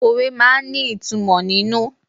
Òwe máa ń ní ìtumò nínú.